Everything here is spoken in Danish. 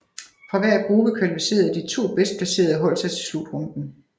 Fra hver gruppe kvalificerede de to bedst placerede hold sig til slutrunden